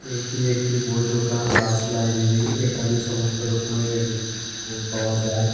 এটি একটি বই দোকান দাস লাইবেরি এখানে সমস্ত রকমের এডুকেশন বই পাওয়া যায়।